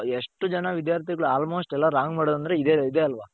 ಎಷ್ಟು ಜನ ವಿದ್ಯಾರ್ಥಿಗಳು almost ಎಲ್ಲಾ wrong ಮಾಡೋದು ಅಂದ್ರೆ ಇದೆ ಇದೆ ಆಲ್ವಾ?